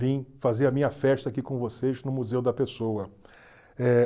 Vim fazer a minha festa aqui com vocês no Museu da Pessoa. Eh